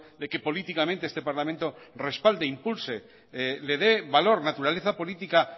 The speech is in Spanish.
de que políticamente este parlamento respalde e impulse le dé valor naturaleza política